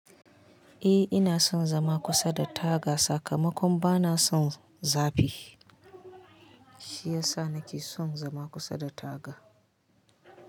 Eh ina son zama kusa da taga sakamakon bana son zafi. Shi yasa nake son zama kusa da taga.